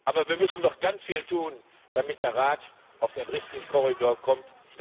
Aber wir müssen noch ganz viel tun, damit der Rat auf den richtigen Weg kommt.